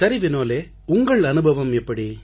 சரி வினோலே உங்கள் அனுபவம் எப்படி